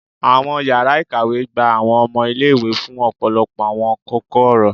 Awọn yara ikawe gba awọn ọmọ ile-iwe fun ọpọlọpọ awọn koko-ọrọ